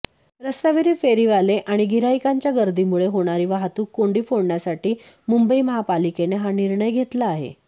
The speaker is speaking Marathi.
रस्त्यावरील फेरीवाले आणि गिऱ्हाईकांच्या गर्दीमुळे होणारी वाहतूक कोंडी फोडण्यासाठी मुंबई महापालिकेने हा निर्णय घेतला आहे